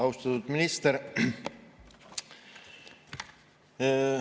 Austatud minister!